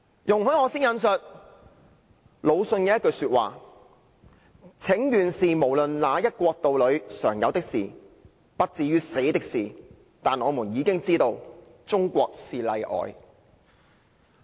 容許我先引述魯迅的一句話："請願雖然是無論哪一國度裏常有的事，不至於死的事，但我們已經知道中國是例外"。